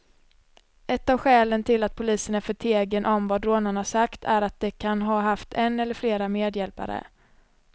Ett av skälen till att polisen är förtegen om vad rånarna sagt är att de kan ha haft en eller flera medhjälpare.